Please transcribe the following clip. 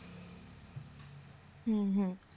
হম হম